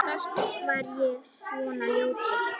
Var ég svona ljótur?